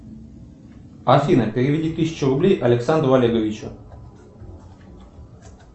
афина переведи тысячу рублей александру олеговичу